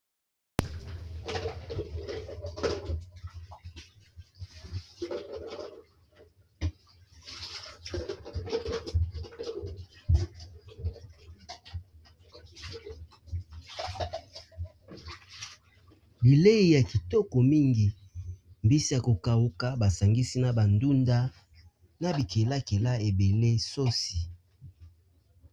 Bileyi ya kitoko mingi mbisi ya ko kauka basangisi na ba ndunda na bikelakela ebele sosi.